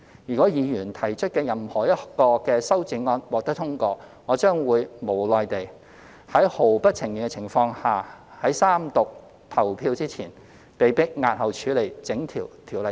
如果議員提出的任何一項修正案獲得通過，我將會無奈地在毫不情願的情況下，被迫在三讀表決前押後處理整項《條例草案》。